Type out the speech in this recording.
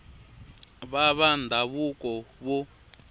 va varhangeri va ndhavuko vo